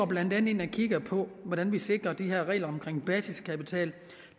blandt andet ind og kigger på hvordan vi sikrer de her regler om basiskapital